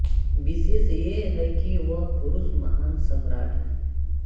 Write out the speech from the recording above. विशेष ये है कि वह पुरुष महान् सम्राट् है